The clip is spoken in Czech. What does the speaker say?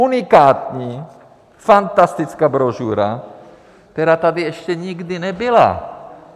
Unikátní fantastická brožura, která tady ještě nikdy nebyla.